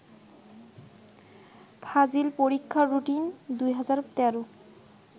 ফাজিল পরীক্ষার রুটিন ২০১৩